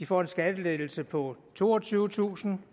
får en skattelettelse på toogtyvetusind